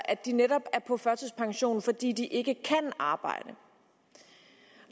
at de netop er på førtidspension fordi de ikke kan arbejde